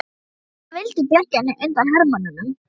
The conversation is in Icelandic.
Amma hennar vildi bjarga henni undan hermönnunum.